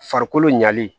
Farikolo ɲalen